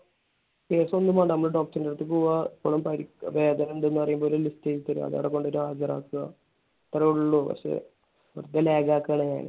case ഒന്നും വേണ്ട. നമ്മൾ doctor നെ അടുത്ത് പോവാ. ഇവിടെ പരുക്ക് വേദന ഇണ്ടെന്ന് പറയുമ്പോ ഒരു list എഴുതി തരും. അത് അവിടെ കൊണ്ട് പോയി ഹാജർ ആക്കുക. ഇത്രേയുള്ളൂ. പക്ഷെ വെറുതെ lag ആക്കാണ് ഞാൻ.